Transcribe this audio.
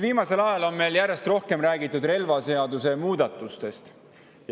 Viimasel ajal on meil järjest rohkem räägitud relvaseaduse muudatustest.